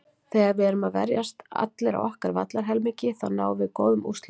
Þegar að við erum að verjast allir á okkar vallarhelmingi þá náum við góðum úrslitum.